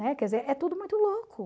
Né? Quer dizer, é tudo muito louco.